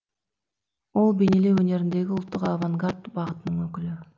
ол бейнелеу өнеріндегі ұлттық авангард бағытының өкілі